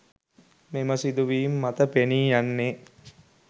මෙම සිදුවීම් මත පෙනී යන්නේ